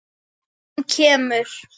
Hún kemur!